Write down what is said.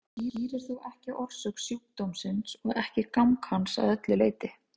Þetta skýrir þó ekki orsök sjúkdómsins og ekki gang hans að öllu leyti.